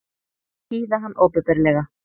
Hýða hann opinberlega!